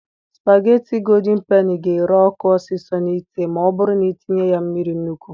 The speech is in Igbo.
Spageti godin peni ga ere ọkụ ọsịsọ n'ite ma ọ bụrụ na i tinye ya mmiri nnukwu.